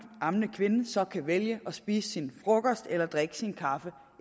ammende kvinde så kan vælge at spise sin frokost eller drikke sin kaffe